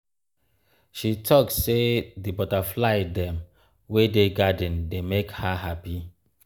um she talk sey di um butterfly dem wey dey garden dey make her um hapi.